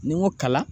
Ni n ko kalan